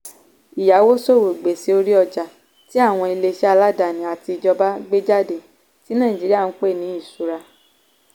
ìyáwóṣòwò - gbèsè orí ọjà tí àwọn ilé-iṣẹ́ aládani àti ìjọba gbé jáde tí nàìjíríà ń pè ní ìṣura.